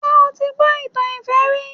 Ṣé o ti gbọ́ ìtàn ìfẹ́ rí?